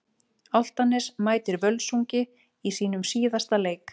Álftanes mætir Völsungi í sínum síðasta leik.